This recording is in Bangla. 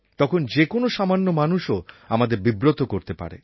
তখন যে কোনও সামান্য মানুষও আমাদের বিব্রত করতে পারে